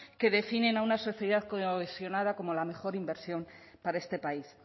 que definen a una sociedad cohesionada como la mejor inversión para este país